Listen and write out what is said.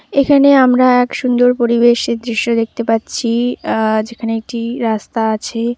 এখানে আমরা এক সুন্দর পরিবেশের দৃশ্য দেখতে পাচ্ছি। আ যেখানে একটি রাস্তা আছে।